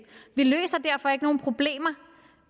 vi løser derfor ikke nogen problemer